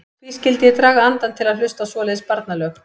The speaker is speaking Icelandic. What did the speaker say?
Hví skyldi ég draga andann til að hlusta á svoleiðis barnalög.